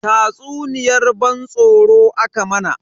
Tatsuniyar ban tsoro aka mana.